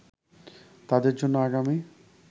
তাদের জন্য আগামী